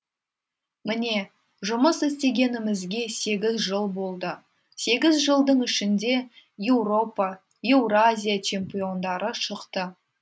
міне жұмыс істегенімізге сегіз жыл болды сегіз жылдың ішінде еуропа еуразия чемпиондары шықты